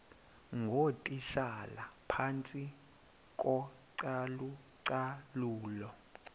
ngootitshala phantsi kocalucalulo